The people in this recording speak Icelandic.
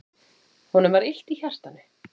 Honum var illt í hjartanu.